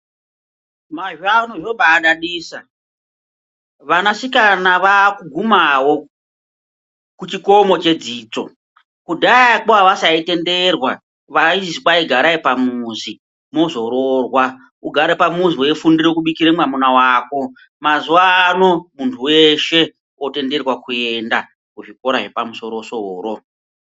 Mazuwano zvombadadisa vanasikana vakugumawo kuchikomo chedzidzo kudhayakwo avasaitenderwa vaizi kwai garai pamuzi muzoroorwa ugare pamuzi weifundire kubikira mwamuna wako. Mazuwanaya muntu weshe otenderwa kuenda kuzvikora zvepamusoro soro.